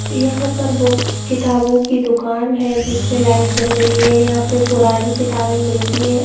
यहाँ पर बुक किताबो की दुकान है जिस में लाइट जल रही है यहाँ पे पुरानी किताबे मिलती हैं।